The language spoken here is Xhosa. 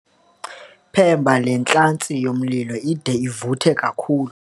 Phemba le ntlantsi yomlilo ide ivuthe kakhulu.